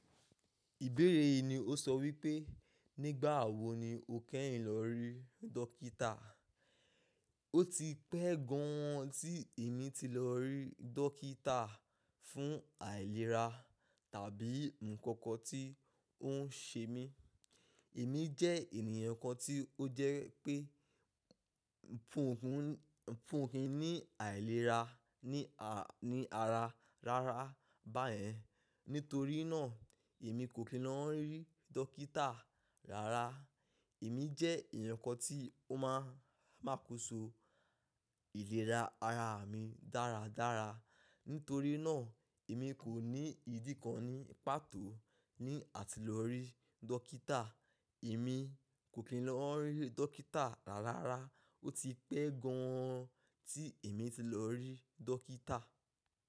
Ìbéèrè yìí ni ó sọ wípé, nígbà wo ni o kẹ́yìn lọ rí dókítà? Ó ti pẹ́ gan an tí èmi ti lọ rí dókítà fún àìlera tàbí nǹkan kan tí ó ń ṣe mí. Èmi jẹ́ ènìyàn kan tí ó jẹ́ pé nfunfun, nfunfun ní àìlera ní ara, ní ara rárá báyẹn. Nítorí náà, èmi kò kí ń lọ rí dókítà rárá. Èmi jẹ́ ènìyàn kan tí ó máà, máa kóso ìlera ara mi dáradára. Nítorí náà, èmi kò ní ìdí kan ní pàtó ní àti lọ rí dókítà. Èmi kò kí ń lọ rí dókítà rárá. Ó ti pẹ́ gan an tí èmi ti lọ rí dókítà.